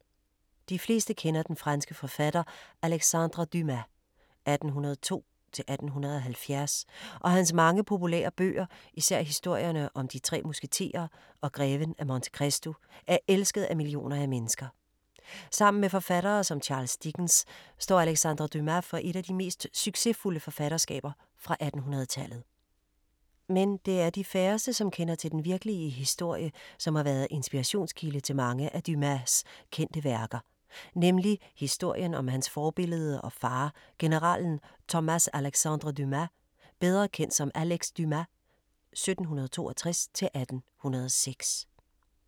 De fleste kender den franske forfatter Alexandre Dumas (1802-1870) og hans mange populære bøger, især historierne om De tre musketerer og Greven af Monte Cristo er elsket af millioner af mennesker. Sammen med forfattere som Charles Dickens, står Alexandre Dumas for et af de mest succesfulde forfatterskaber fra 1800-tallet. Men det er de færreste, som kender til den virkelige historie, som har været inspirationskilde til mange af Dumas kendte værker, nemlig historien om hans forbillede og far, generalen Thomas-Alexandre Dumas, bedre kendt som Alex Dumas (1762-1806).